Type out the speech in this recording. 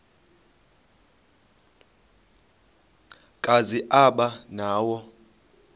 kazi aba nawo